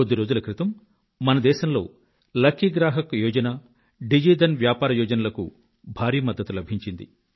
కొద్ది రోజుల క్రితం మన దేశంలో లకీ గ్రాహక్ యోజన డిజి వ్యాపార్ యోజనలకు భారీ మద్దతు లభించింది